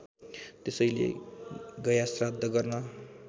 त्यसैले गयाश्राद्ध गर्न